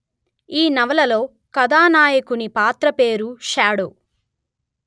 ఈ నవలలో కథానాయకుని పాత్ర పేరు షాడో